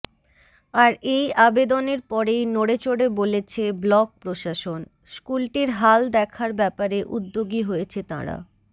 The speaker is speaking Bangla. আর এই আবেদনের পরেই নড়েচড়ে বলেছে ব্লক প্রশাসন স্কুলটির হাল দেখার ব্যাপারে উদ্যোগী হয়েছে তাঁরা